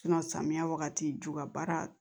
samiya wagati ju ka baara